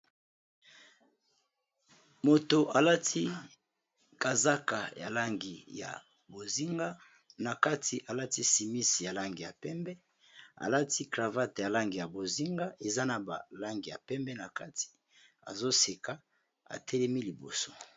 Mutu alati kazaka ya langi ya bozinga na kati alati chémise ya langi ya pembe alati cravate ya langi ya bozinga eza na balangi ya pembe na kati azoseka atelemi liboso.